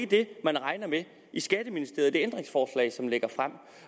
det man regner med i skatteministeriet